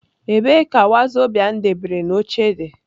Ebee ka wazobia m debere n'oche di?